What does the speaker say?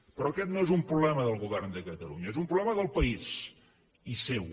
però aquest no és un problema del govern de catalunya és un problema del país i seu